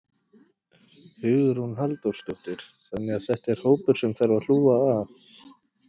Hugrún Halldórsdóttir: Þannig að þetta er hópur sem að þarf að hlúa að?